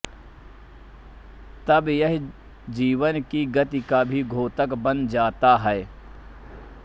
तब यह जीवन की गति का भी द्योतक बन जाता है